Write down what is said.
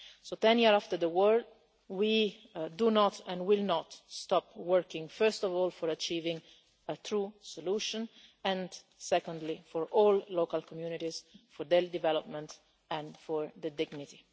So, ten years after the war, we do not and will not stop working first of all for achieving a true solution, and secondly for all local communities, for their development and for their dignity.